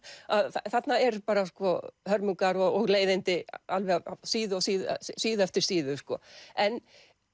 þarna eru bara hörmungar og leiðindi alveg síðu síðu síðu eftir síðu en